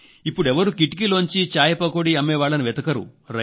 ఎప్పడు ఎవ్వరూ కిటికీలోంచి చాయ్పకోడీ అమ్మేవాళ్లను వెతకరు